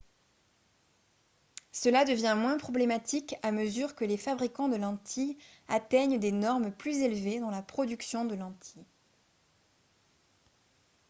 cela devient moins problématique à mesure que les fabricants de lentilles atteignent des normes plus élevées dans la production de lentilles